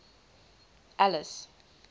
alice